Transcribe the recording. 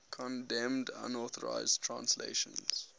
condemned unauthorized translations